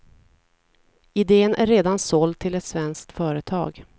Iden är redan såld till ett svenskt företag.